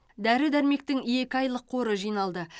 дәрі дәрмектің екі айлық қоры жиналды